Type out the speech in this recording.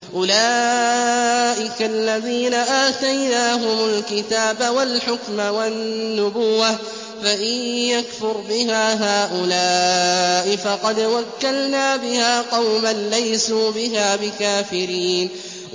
أُولَٰئِكَ الَّذِينَ آتَيْنَاهُمُ الْكِتَابَ وَالْحُكْمَ وَالنُّبُوَّةَ ۚ فَإِن يَكْفُرْ بِهَا هَٰؤُلَاءِ فَقَدْ وَكَّلْنَا بِهَا قَوْمًا لَّيْسُوا بِهَا بِكَافِرِينَ